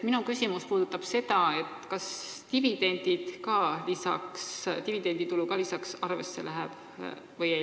Minu küsimus puudutab seda, kas dividenditulu ka arvesse läheb või ei.